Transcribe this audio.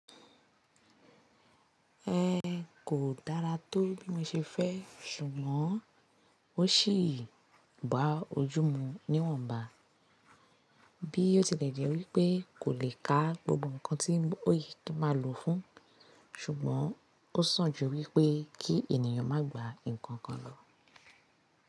Ẹ kò dára tó bí mo ṣe fẹ́, ṣùgbọ́n ó ṣì bá ojú mi níwọ̀nba. Bí ó tilẹ̀ jẹ́ wípé kò le ka gbogbo ǹkan tí ó yí kí a máa lò fún, ṣùgbọ́n ó sàn ju wípé kí ènìyàn má gba ǹkan kan lọ.